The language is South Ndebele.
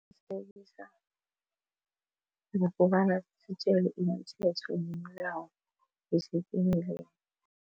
Ngokobana sitjelwe imithetho nemilayo yesitimelelni.